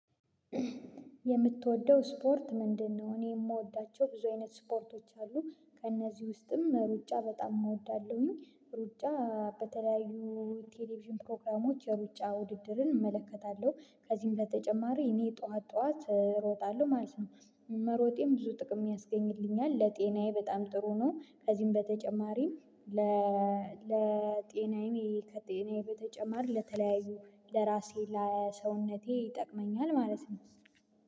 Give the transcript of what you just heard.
የምትወደው ስፖርት ምንድነው? እኔ የምወዳቸው ብዙ አይነት ስፖርቶች አሉ ከእነዚህ ውስጥም ሩጫ በጣም እወዳለሁኝ ሩጫ በተለያዩ ቴሌቪዥን ፕሮግራሞች የሩጫ ውድድርን እመለከታለሁ ከዚህም በተጨማሪ እኔ ጠዋት ጠዋት እሮጣለሁ ማለት ነው። መሮጤም ብዙ ጥቅም ያስገኝልኛል ለጤናዬ በጣም ጥሩ ነው። ከዚህም በተጨማሪም። ለጤናዬም ከጤናዬ በተጨማሪ ለተለያዩ ለራሴ ለሰውነቴ ይጠቅመኛል ማለት ነው።